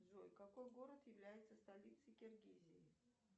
джой какой город является столицей киргизии